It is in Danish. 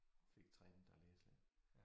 Fik trænet at læse lidt